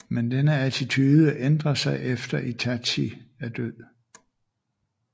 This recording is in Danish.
Men denne attitude ændrer sig efter Itachi er død